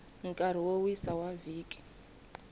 nkarhi wo wisa wa vhiki